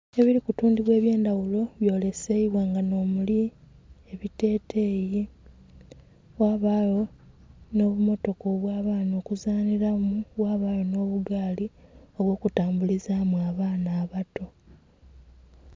Ebiri ku tundhubwa ebye ndhaghulo nga bbyoleseibwa nga nho muli ebiteteyi, ghabagho nho bumotoka obya baana okuzanhilamu, ghabagho nho bugaali obwo ku tambulizamu abaana abato.